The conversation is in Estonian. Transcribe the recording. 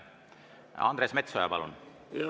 Andres Metsoja, palun!